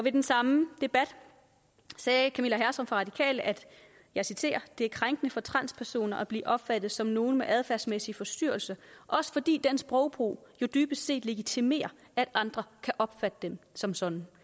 i den samme debat sagde camilla hersom fra de radikale at det er krænkende for transpersoner at blive opfattet som nogen med adfærdsmæssige forstyrrelser også fordi den sprogbrug jo dybest set legitimerer at andre kan opfatte dem som sådan